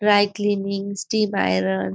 dry cleaning steam iron --